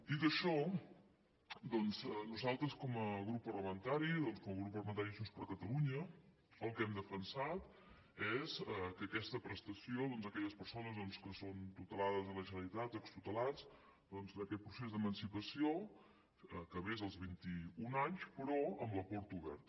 dit això doncs nosaltres com a grup parlamentari de junts per catalunya el que hem defensat és que aquesta prestació d’aquelles persones que són tutelades de la generalitat o extutelats aquest procés d’emancipació acabés als vint i un anys però amb la porta oberta